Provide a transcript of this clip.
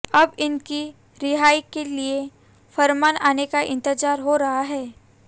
अब इनकी रिहाई के लिए फरमान आने का इंतजार हो रहा है